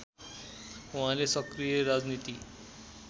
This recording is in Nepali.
उहाँले सक्रिय राजनीति